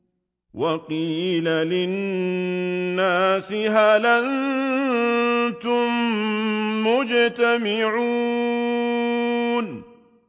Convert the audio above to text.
وَقِيلَ لِلنَّاسِ هَلْ أَنتُم مُّجْتَمِعُونَ